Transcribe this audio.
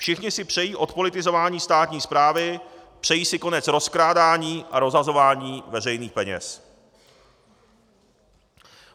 Všichni si přejí odpolitizování státní správy, přejí si konec rozkrádání a rozhazování veřejných peněz.